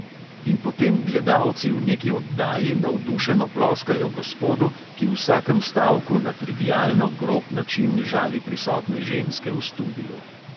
In potem gledalci v neki oddaji navdušeno ploskajo gospodu, ki v vsakem stavku na trivialno grob način žali prisotne ženske v studiu.